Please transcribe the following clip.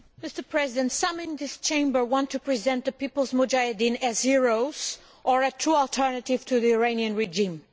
Mr President, some in this Chamber want to present the People's Mujahedin as heroes or a true alternative to the Iranian regime.